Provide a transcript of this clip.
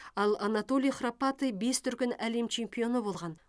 ал анатолий храпатый бес дүркін әлем чемпионы болған